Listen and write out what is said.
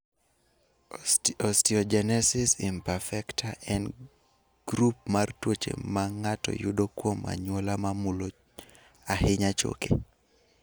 Osteogenesis imperfecta (OI) en grup mar tuoche ma ng�ato yudo kuom anyuola ma mulo ahinya choke.